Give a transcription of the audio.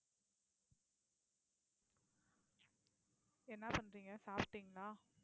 என்ன பண்றீங்க சாப்பிட்டீங்களா